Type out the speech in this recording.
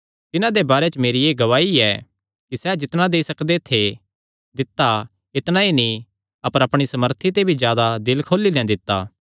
तिन्हां दे बारे च मेरी एह़ गवाही ऐ कि सैह़ जितणा देई सकदे थे दित्ता इतणा ई नीं अपर अपणी सामर्थ ते भी जादा दिल खोली नैं दित्ता